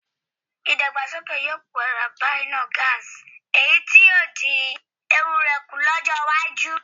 Ìdàgbàsókè yóò padà bá iná gáàsì èyí tí yóò dín ewu rẹ̀ kù lọ́jọ́ iwájú